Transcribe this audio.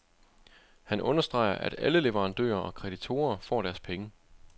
Han understreger, at alle leverandører og kreditorer får deres penge.